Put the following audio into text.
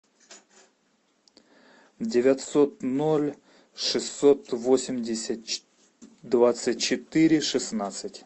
девятьсот ноль шестьсот восемьдесят двадцать четыре шестнадцать